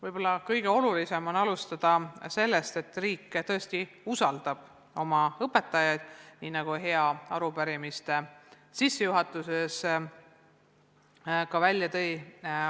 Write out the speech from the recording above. Võib-olla on kõige olulisem alustada sellest, et riik tõesti usaldab oma õpetajaid, nii nagu arupärijad sissejuhatuses ka esile tõid.